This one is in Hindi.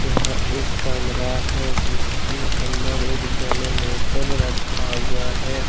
यहां एक कमरा है जिसके अंदर एक जनरेटर रखा हुआ है।